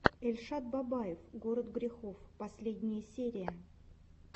эльшад бабаев город грехов последняя серия